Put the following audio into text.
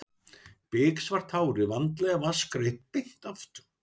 Biksvart hárið vandlega vatnsgreitt beint aftur.